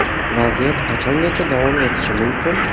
Vaziyat qachongacha davom etishi mumkin?